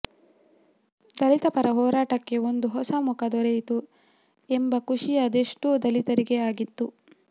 ದಲಿತಪರ ಹೋರಾಟಕ್ಕೆ ಒಂದು ಹೊಸ ಮುಖ ದೊರೆಯಿತು ಎಂಬ ಖುಷಿ ಅದೆಷ್ಟೋ ದಲಿತರಿಗೆ ಆಗಿತ್ತು